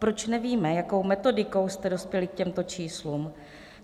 Proč nevíme, jakou metodikou jste dospěli k těmto číslům?